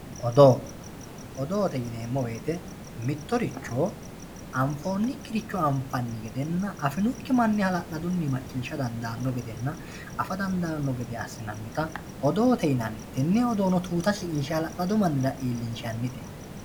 Odoote yineemmo woyiite anfoonnikkiricho anfeemmo gedenna afinokki manni hala'ladunno macciishsha dandaanno gedenna afa dandaanno gede assinannita odoote yinanni tenne odoono tuuta shiqinshshe wolu mannira iillinshannite